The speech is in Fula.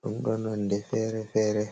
ɗum ɗo nonde fere-fere.